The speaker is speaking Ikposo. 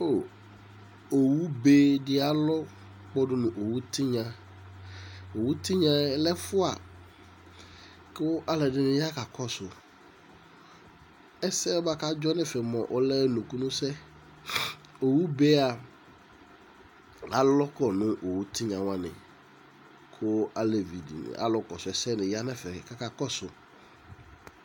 Awu bedi alɔ kpɔdu n'owu tɩgnaOwu tignayɛ lɛ 'fua ,kʊ aledinɩ ya kakosʊ ,ɛssɛ kadzɔ nefɛ ɔlɛ nukunussɛ Owu beyɛa alɔkɔ nʊ owu tigna wani ,ku alevi alukosu essenɩ ya nɛfɛ kaka kosu